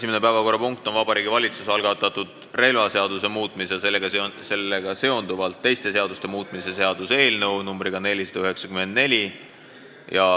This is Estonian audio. Esimene päevakorrapunkt on Vabariigi Valitsuse algatatud relvaseaduse muutmise ja sellega seonduvalt teiste seaduste muutmise seaduse eelnõu 494.